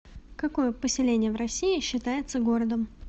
какое поселение в россии считается городом